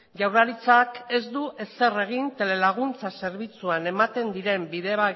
jaurlaritzak ez du ezer egin telelaguntzan zerbitzuan ematen diren